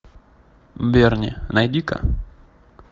берни найди ка